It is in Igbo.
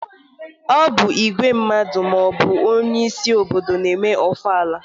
Ọ bụ igwe maọbụ onyeisi obodo na-eme ofala.